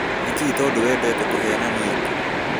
Nĩkiĩ tũndũ wendete kũhenania ũũ